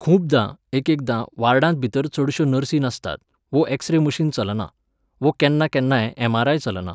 खुबदां, एकेकदां, वार्डांत भितर चडश्यो नर्सी नासतात, वो एक्सरे मशीन चलना, वो केन्ना केन्नाय एम.आर.आय. चलना